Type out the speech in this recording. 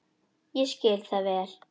Ég skil það vel.